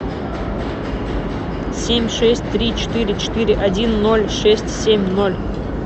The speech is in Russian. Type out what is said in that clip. семь шесть три четыре четыре один ноль шесть семь ноль